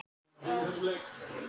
Finnst þér þetta ekki óheppilegt?